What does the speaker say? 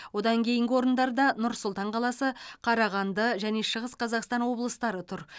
одан кейінгі орындарда нұр сұлтан қаласы қарағанды және шығыс қазақстан облыстары тұр